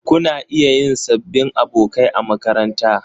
Kuna iya yin sabbin abokai a makaranta.